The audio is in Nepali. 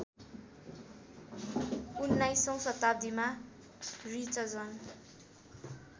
१९ औँ शताब्दीमा रिचजन